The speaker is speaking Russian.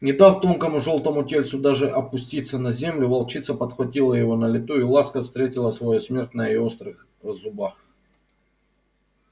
не дав тонкому жёлтому тельцу даже опуститься на землю волчица подхватила его на лету и ласка встретила свою смерть на её острых зубах